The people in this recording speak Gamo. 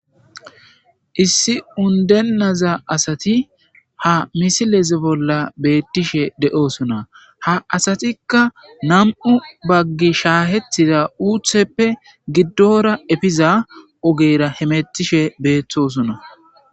issi undenaza asati ha misilez bolla beettishe de7oosuna ha asatikka nam7u baggi shaahetida uutheppe giddora efiza ogera hemettishe beeththosuna